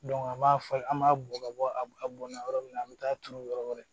an b'a fɔ an b'a bɔ ka bɔ a bɔnna yɔrɔ min na an bɛ taa turu yɔrɔ wɛrɛ